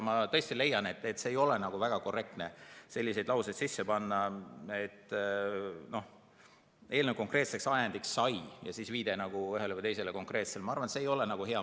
Ma tõesti leian, et ei ole väga korrektne sisse panna selliseid lauseid, et eelnõu konkreetseks ajendiks sai ... ja siis on viide ühele või teisele konkreetsele.